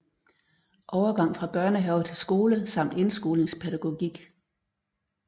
Overgang fra børnehave til skole samt indskolingspædagogik